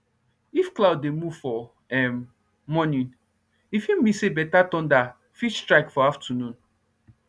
if cloud dey move for um morning if e mean say better thunder fit strike for afternoon